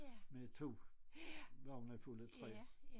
Med 2 vogne fulde af træ